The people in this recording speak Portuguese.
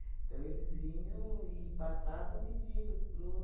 Então, eles vinham e passavam pedindo para os